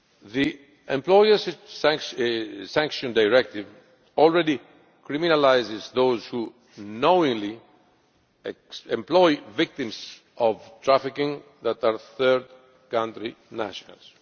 The Employers Sanctions Directive already criminalises those who knowingly employ victims of trafficking who are third country nationals.